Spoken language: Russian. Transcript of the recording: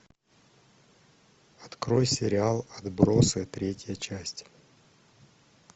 открой сериал отбросы третья часть